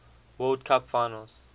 world cup finals